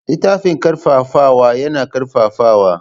Littafin ƙarfafawa yana ƙarfafawa.